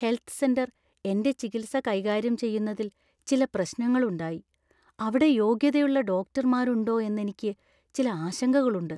Health centre‍ എന്‍റെ ചികിത്സ കൈകാര്യം ചെയ്യുന്നതിൽ ചില പ്രശ്നങ്ങളുണ്ടായി. അവിടെ യോഗ്യതയുള്ള ഡോക്ടർമാരുണ്ടോ എന്നെനിക്ക് ചില ആശങ്കകളുണ്ട്.